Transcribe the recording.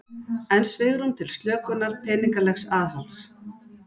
Enn svigrúm til slökunar peningalegs aðhalds